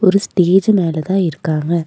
ஒரு ஸ்டேஜூ மேல தான் இருக்காங்க.